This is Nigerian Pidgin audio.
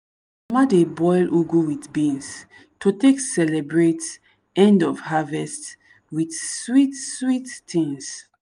mama dey boil ugu with beans to take celebrate end of harvest with sweet-sweet things.